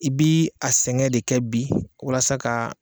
I bi a sɛgɛn de kɛ bi, walasa ka